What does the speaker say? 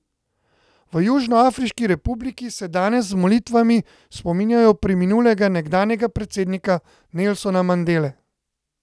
V Južnoafriški republiki se danes z molitvami spominjajo preminulega nekdanjega predsednika Nelsona Mandele.